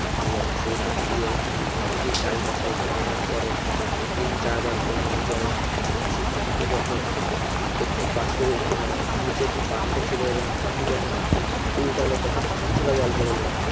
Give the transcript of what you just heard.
এবং সেই লাঠি দিয়ে ওই ঘটিটির চারিপাশে ঘোরানোর পরে তিন চারবার ঘোরানোর পরে সেই ঘটিটি যখন একটি পাত্র মানে নিচে একটি পাত্র ছিল এবং ঘটিটি যখন উল্টালো তখন কিছুটা জল বেরোলো